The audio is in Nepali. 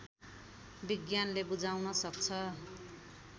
विज्ञानले बुझाउन सक्छ